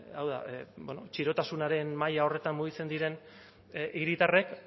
hau da bueno txirotasunaren maila horretan mugitzen diren hiritarrek